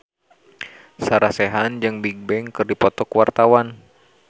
Sarah Sechan jeung Bigbang keur dipoto ku wartawan